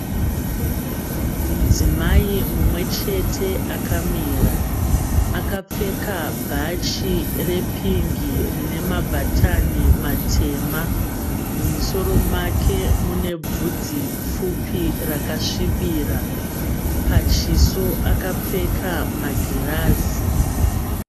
Mudzimai mumwe chete akamira. Akapfeka bhachi repingi rine mabhatani matema. Mumusoro make mune bvudzi pfupi rakasvibira. Pachiso akapfeka magirazi.